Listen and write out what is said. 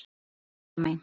Ertu þarna, Halla mín?